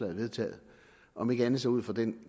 vedtaget om ikke andet så ud fra den